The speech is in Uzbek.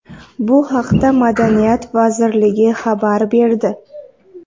Bu haqda Madaniyat vazirligi xabar berdi.